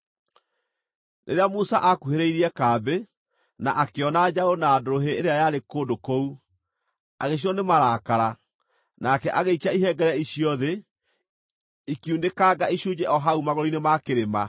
Rĩrĩa Musa akuhĩrĩirie kambĩ, na akĩona njaũ na ndũrũhĩ ĩrĩa yarĩ kũndũ kũu, agĩcinwo nĩ marakara, nake agĩikia ihengere icio thĩ, ikiunĩkanga icunjĩ o hau magũrũ-inĩ ma kĩrĩma.